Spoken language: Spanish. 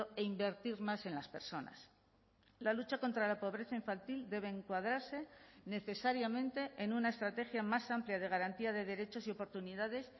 e invertir más en las personas la lucha contra la pobreza infantil debe encuadrarse necesariamente en una estrategia más amplia de garantía de derechos y oportunidades